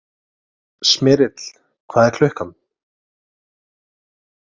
Smyrill, hvað er klukkan?